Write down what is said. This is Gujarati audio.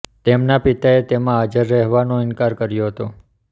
તેમના પિતાએ તેમાં હાજર રહેવાનો ઇનકાર કર્યો હતો